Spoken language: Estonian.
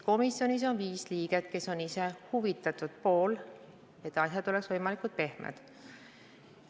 Komisjonis on viis liiget, kes on huvitatud, et asjad oleksid võimalikult pehmed.